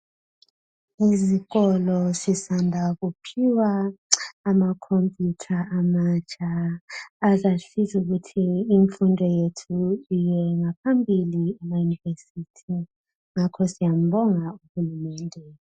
Isikolo sisanda kuphiwa amakhompuyutha amatsha. Azasiza ukuthi imfundo yethu iyengaphambili emayunivesithi, ngakho siyambonga UHulumende.